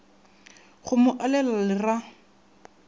go mo alela le ra